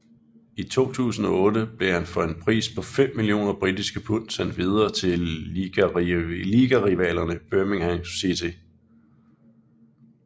I 2008 blev han for en pris på fem millioner britiske pund sendt videre til ligarivalerne Birmingham City